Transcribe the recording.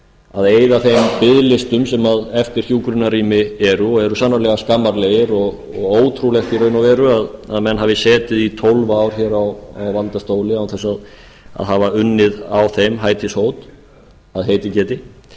að eyða þeim biðlistum sem eftir hjúkrunarrými eru og eru sannarlega skammarlegir og ótrúlegt í raun og veru að menn hafi setið í tólf ár á valdastóli án þess að hafa unnið að þeim hætishót að heitið geti